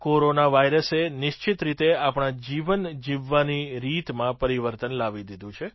corona વાઇરસે નિશ્ચિત રીતે આપણા જીવન જીવવાની રીતમાં પરિવર્તન લાવી દીધું છે